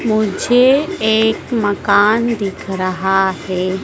मुझे एक मकान दिख रहा है।